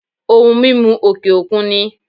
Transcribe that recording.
Ohun mímu òkè òkun ni